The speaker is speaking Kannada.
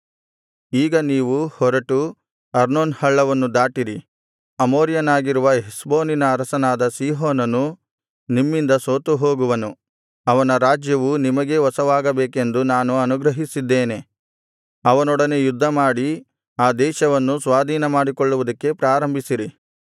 ಈಗ ನೀವು ಹೊರಟು ಅರ್ನೋನ್ ಹಳ್ಳವನ್ನು ದಾಟಿರಿ ಅಮೋರಿಯನಾಗಿರುವ ಹೆಷ್ಬೋನಿನ ಅರಸನಾದ ಸೀಹೋನನು ನಿಮ್ಮಿಂದ ಸೋತುಹೋಗುವನು ಅವನ ರಾಜ್ಯವು ನಿಮಗೇ ವಶವಾಗಬೇಕೆಂದು ನಾನು ಅನುಗ್ರಹಿಸಿದ್ದೇನೆ ಅವನೊಡನೆ ಯುದ್ಧಮಾಡಿ ಆ ದೇಶವನ್ನು ಸ್ವಾಧೀನಮಾಡಿಕೊಳ್ಳುವುದಕ್ಕೆ ಪ್ರಾರಂಭಿಸಿರಿ